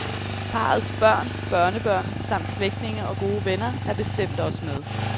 Parrets børn, børnebørn samt slægtninge og gode venner er bestemt også med.